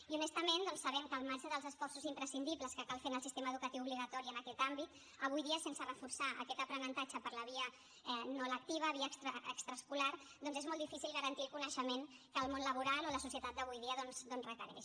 i honestament sabem que al marge dels esforços imprescindibles que cal fer en el sistema educatiu obligatori en aquest àmbit avui dia sense reforçar aquest aprenentatge per la via no lectiva via extraescolar doncs és molt difícil garantir el coneixement que el món laboral o la societat d’avui dia requereix